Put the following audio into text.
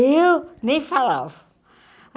Eu nem falava.